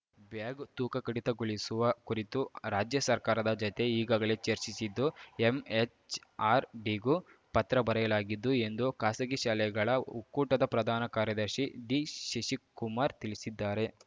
bag ತೂಕ ಕಡಿತಗೊಳಿಸುವ ಕುರಿತು ರಾಜ್ಯ ಸರ್ಕಾರದ ಜತೆ ಈಗಾಗಲೇ ಚರ್ಚಿಸಿದ್ದು ಎಂಎಚ್‌ಆರ್‌ಡಿಗೂ ಪತ್ರ ಬರೆಯಲಾಗಿದ್ದು ಎಂದು ಖಾಸಗಿ ಶಾಲೆಗಳ ಒಕ್ಕೂಟದ ಪ್ರಧಾನ ಕಾರ್ಯದರ್ಶಿ ಡಿ ಶಶಿಕುಮಾರ್‌ ತಿಳಿಸಿದ್ದಾರೆ